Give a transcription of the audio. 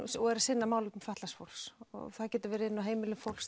og eru að sinna málefnum fatlaðs fólks það getur verið inni á heimilum fólks